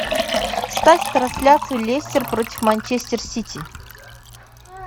ставь трансляцию лестер против манчестер сити